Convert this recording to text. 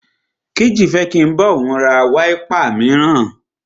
Kéjì fẹ́ kí n bá òun ra wáípà míràn.